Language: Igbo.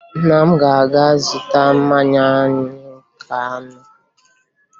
Nna m ga-aga zụta mmanya anyị ga-aṅụ